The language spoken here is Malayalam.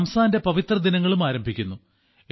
റംസാന്റെ പവിത്ര ദിനങ്ങളും ആരംഭിക്കുന്നു